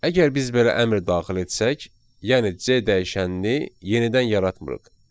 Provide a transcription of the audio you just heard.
Əgər biz belə əmr daxil etsək, yəni C dəyişənini yenidən yaratmırıq.